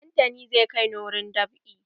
Dantani zai kai ni wurin dab'i.